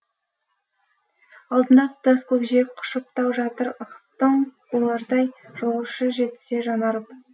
алдымда тұтас көкжиек құшып тау жатыр ықтын болардай жолаушы жетсе жаны арып